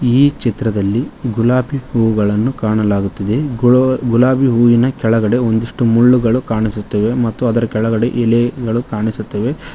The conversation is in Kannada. ಈ ಚಿತ್ರದಲ್ಲಿ ಗುಲಾಬಿ ಹೂಗಳನ್ನು ಕಾಣಲಾಗುತ್ತಿದೆ ಗುಲೋ ಗುಲಾಬಿ ಹೂವಿನ ಕೆಳಗಡೆ ಒಂದಿಷ್ಟು ಮುಳ್ಳುಗಳು ಕಾಣಿಸುತ್ತಿವೆ ಮತ್ತು ಅದರ ಕೆಳಗಡೆ ಎಲೆಗಳು ಕಾಣಿಸುತ್ತವೆ.